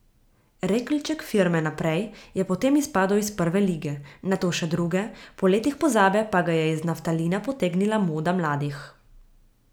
Rekelček firme Naprej je potem izpadel iz prve lige, nato še druge, po letih pozabe pa ga je iz naftalina potegnila moda mladih.